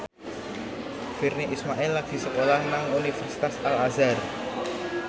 Virnie Ismail lagi sekolah nang Universitas Al Azhar